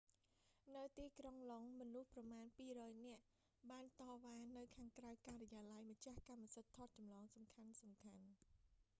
នៅទីក្រុងឡុងដ៏ មនុស្សប្រមាណ 200 នាក់ បានតវ៉ានៅខាងក្រៅការិយាល័យម្ចាស់កម្មសិទ្ធិថតចម្លងសំខាន់ៗ